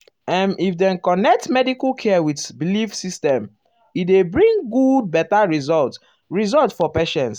ehm if dem connect medical care with belief system e dey bring good better result result for patient.